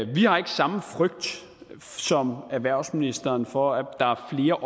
vi har ikke samme frygt som erhvervsministeren for at der er